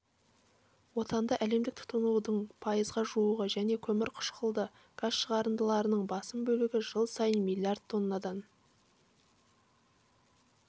отынды әлемдік тұтынудың пайызға жуығы және көмірқышқылды газ шығарындыларының басым бөлігі жыл сайын миллиард тоннадан